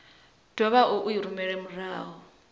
dovhe vha i rumele murahu